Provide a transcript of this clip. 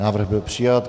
Návrh byl přijat.